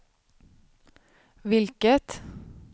vilket